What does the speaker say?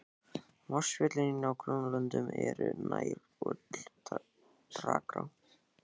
Vatnsföll í nágrannalöndunum eru nær öll dragár.